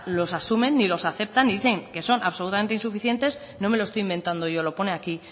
los asumen ni los aceptan y dicen que son absolutamente insuficientes nome lo estoy inventando yo lo pone aquí